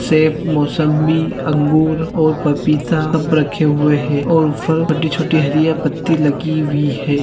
सेब मौसमी अंगूर और पपीता सब रखे हुए है और फल बड्डे छोटे हरिया पत्ती लगी हुई है।